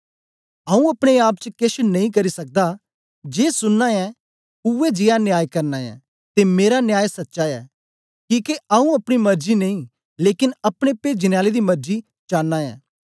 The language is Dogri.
आऊँ अपने आप च केछ नेई करी सकदा जे सुनना ऐं उवै जीया न्याय करना ऐं ते मेरा न्याय सच्चा ऐ किके आऊँ अपनी मरजी नेई लेकन अपने पेजने आले दी मरजी चांना ऐ